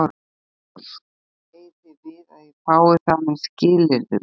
SKÚLI: Eigið þér við að ég fái það með skilyrðum?